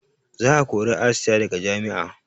Za a kori asiya daga jami'a